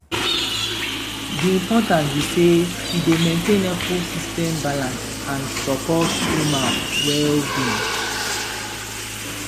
di importance be say e dey maintain ecosystem balance and support human well-being.